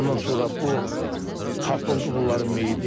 Ondan sonra bu tapıldı bunların meyidi.